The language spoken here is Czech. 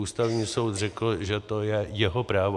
Ústavní soud řekl, že to je jeho právo.